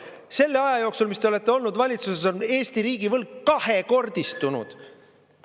Selle aja jooksul, mis te olete olnud valitsuses, on Eesti riigi võlg kahekordistunud.